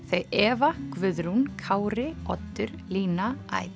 þau Eva Guðrún Kári Oddur lina